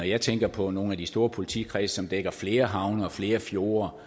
jeg tænker på nogle af de store politikredse som dækker flere havne og flere fjorde